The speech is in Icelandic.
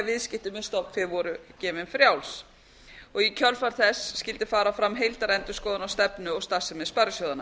viðskipti með stofnbréf voru gefin frá og í kjölfar þess skyldi fara fram heildarendurskoðun á stefnu og starfsemi sparisjóðanna